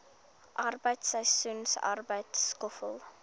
arbeid seisoensarbeid skoffel